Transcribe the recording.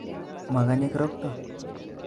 Mogonye kirokto